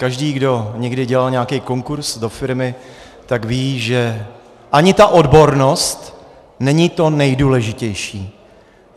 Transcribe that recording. Každý, kdo někdy dělal nějaký konkurz do firmy, tak ví, že ani ta odbornost není to nejdůležitější.